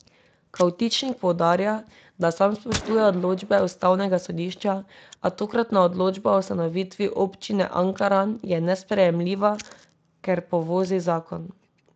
Kavtičnik poudarja, da sam spoštuje odločbe ustavnega sodišča, a tokratna odločba o ustanovitvi Občine Ankaran je nesprejemljiva, ker povozi zakon.